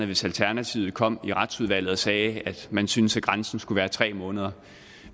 hvis alternativet kom i retsudvalget og sagde at man syntes at grænsen skulle være tre måneder